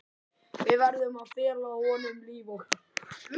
Við verðum að fela honum líf okkar.